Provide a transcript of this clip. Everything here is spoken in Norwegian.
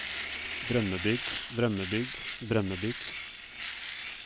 drømmebygg drømmebygg drømmebygg